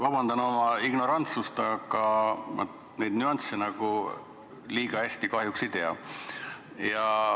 Vabandust ignorantsuse eest, aga ma neid nüansse liiga hästi kahjuks ei tea.